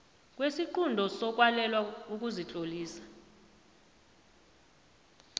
kwesiqunto sokwalelwa ukuzitlolisa